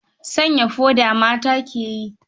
Sanya su foda ma mata ke yi.